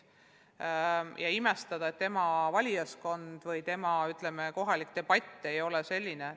Ei maksa imestada, et nende valijaskond või nende kohalik debatt ei ole selline.